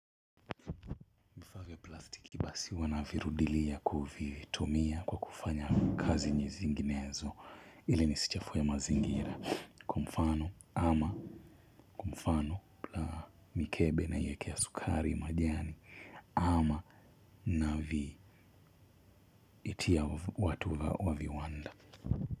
Vifaa vya plastiki basi huwa navirudilia kuvitumia kwa kufanya kazi zinginezo ili nisichafue mazingira kwa mfano ama mfano la mikebe naiekea sukari majani ama navi itia watu wa viwanda.